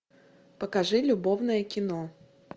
покажи любовное кино